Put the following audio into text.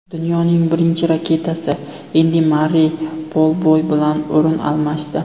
Dunyoning birinchi raketkasi Endi Marrey bolboy bilan o‘rin almashdi .